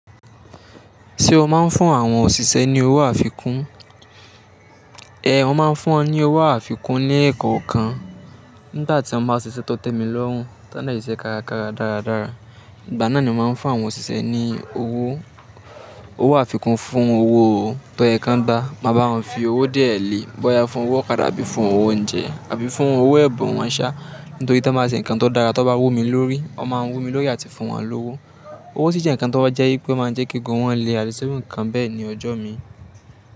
Ṣé o máa ń fún àwọn òṣìṣẹ́ ní owó àfikún? Ehn, mo máa ń fún wọn ní owó àfikún ní ẹ̀kọ̀ọ̀kan. Nígbà tí wọ́n bá ṣiṣẹ́ tọ́tẹ̀ mi lọ́hùn, tá ni ṣe karakara dáradára, ìgbà náà ni mo máa ń fún àwọn òṣìṣẹ́ ní owó àfikún fún owó tọ́ ẹ kan gba. Ma ba wọn fi owó díẹ̀ lé, bóyá fún owó ọ̀kadà àbí fún owó oúnjẹ àbí fún owó ẹ̀bùn wọn sá. Nítorí tí wọ́n bá ṣe ǹkan tó dára tí wọ́n bá wù mí lórí, wọ́n máa ń wù mí lórí àti fún wọn lówó. Owó sì jẹ́ ǹkan tó wọ́n jẹ́ pé máa ń jẹ́ kégùn wọn le àdìsẹ́ bí ǹkan bẹ́ẹ̀ ní ọjọ́ mi.